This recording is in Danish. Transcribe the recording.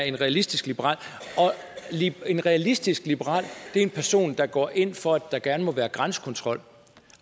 en realistisk liberal en realistisk liberal er en person der går ind for at der gerne må være grænsekontrol